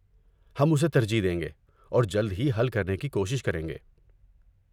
ہم اسے ترجیح دیں گے اور جلد ہی حل کرنے کی کوشش کریں گے۔